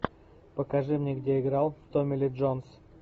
покажи мне где играл томми ли джонс